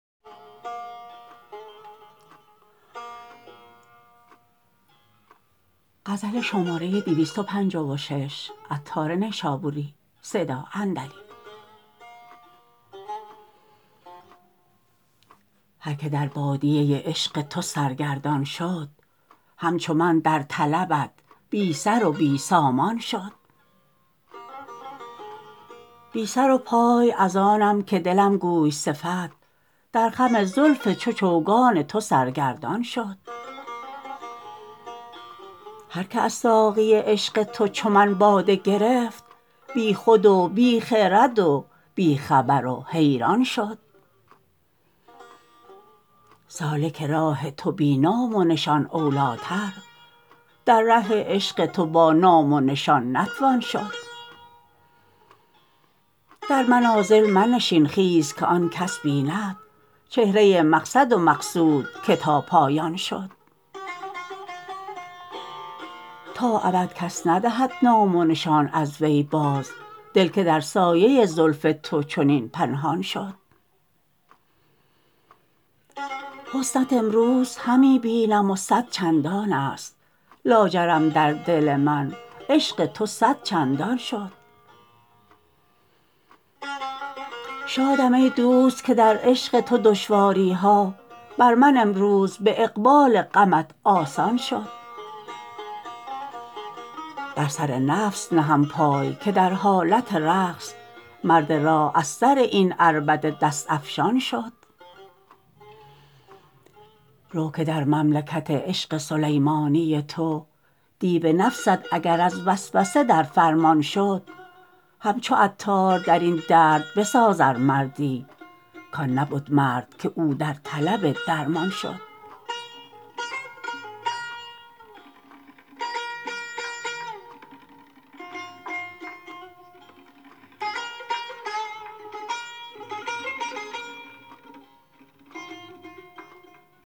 هر که در بادیه عشق تو سرگردان شد همچو من در طلبت بی سر و بی سامان شد بی سر و پای از آنم که دلم گوی صفت در خم زلف چو چوگان تو سرگردان شد هر که از ساقی عشق تو چو من باده گرفت بی خود و بی خرد و بی خبر و حیران شد سالک راه تو بی نام و نشان اولیتر در ره عشق تو با نام و نشان نتوان شد در منازل منشین خیز که آن کس بیند چهره مقصد و مقصود که تا پایان شد تا ابد کس ندهد نام و نشان از وی باز دل که در سایه زلف تو چنین پنهان شد حسنت امروز همی بینم و صد چندان است لاجرم در دل من عشق تو صد چندان شد شادم ای دوست که در عشق تو دشواری ها بر من امروز به اقبال غمت آسان شد بر سر نفس نهم پای که در حالت رقص مرد راه از سر این عربده دست افشان شد رو که در مملکت عشق سلیمانی تو دیو نفست اگر از وسوسه در فرمان شد همچو عطار درین درد بساز ار مردی کان نبد مرد که او در طلب درمان شد